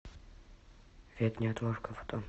вет неотложка фото